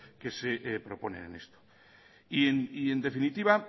que se propone en esto y en definitiva